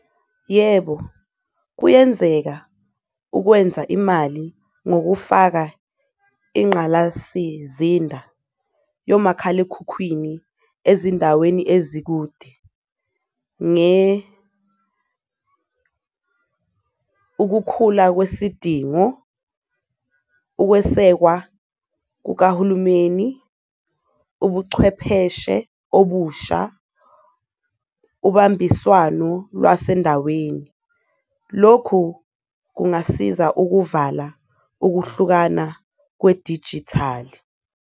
Yebo, kuyenzeka ukwenza imali ngokufaka ingqalasizinda yomakhalekhukhwini ezindaweni ezikude ukukhula kwesidingo, ukwesekwa kukahulumeni, ubuchwepheshe obusha, ubambiswano lwasendaweni. Lokhu kungasiza ukuvala ukuhlukana kwedijithali.